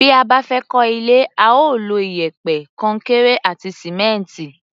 Bí a bá fẹ́ kọ́ ilé, a ó lo iyẹ̀pẹ̀, kọnkéré àti sìmẹ́ǹtì.